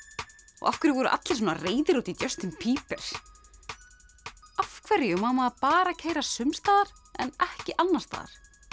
og af hverju voru allir svona reiðir út í Justin Bieber af hverju má maður bara keyra sums staðar en ekki annars staðar